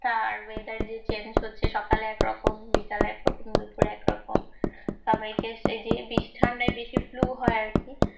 হ্যাঁ weather change হচ্ছে সকালে এক রকম বিকালে একরকম সবাইকে বেশি হয় আর কি